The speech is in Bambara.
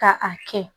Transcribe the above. Ka a kɛ